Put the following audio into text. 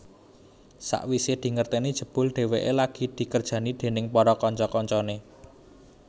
Sawisé dingerteni jebul dheweké lagi dikerjani déning para kanca kancané